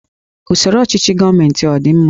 Usoro ọchịchị gọọmentị a ọ dị mma?